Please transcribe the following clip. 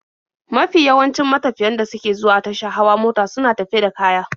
Mafi yawancin matafiyan da suke zuwa tasha hawa mota suna tafe da kaya.